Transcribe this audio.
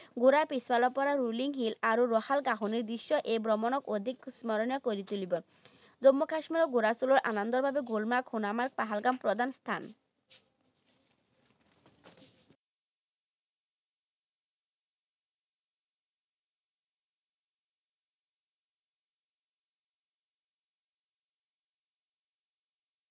ঘোঁৰা পিছফালৰ পৰা ruling hill আৰু ৰসাল ঘাঁহনিৰ দৃশ্য এই ভ্ৰমণক অধিক স্মৰণীয় কৰি তুলিব। জম্মু কাশ্মীৰৰ ঘোঁৰা চলোৱাৰ আনন্দৰ বাবে গুলমাৰ্গ পাহাৰগ্ৰাম প্ৰধান স্থান।